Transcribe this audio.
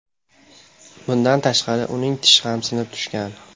Bundan tashqari, uning tishi ham sinib tushgan.